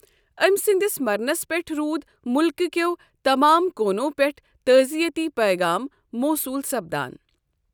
أمۍ سٕنٛدِس مرنَس پٮ۪ٹھ روُدِ مُلكہٕ كیو تمام كوٗنو پٮ۪ٹھہٕ تعزیتی پیغام موصوُل سپدان ۔